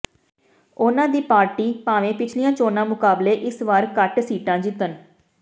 ਉਨ੍ਹਾਂ ਦੀ ਪਾਰਟੀ ਭਾਵੇਂ ਪਿਛਲੀਆਂ ਚੋਣਾਂ ਮੁਕਾਬਲੇ ਇਸ ਵਾਰ ਘੱਟ ਸੀਟਾਂ ਜਿੱਤਣ